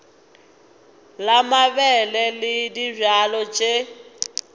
la mabele le dibjalo tše